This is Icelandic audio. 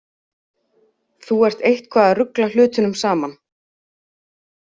Þú ert eitthvað að rugla hlutunum saman.